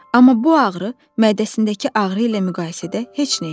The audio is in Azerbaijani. Amma bu ağrı mədəsindəki ağrı ilə müqayisədə heç nə idi.